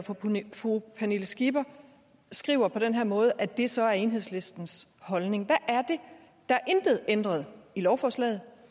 fru pernille skipper skriver på den her måde at det så er enhedslistens holdning der er intet ændret i lovforslaget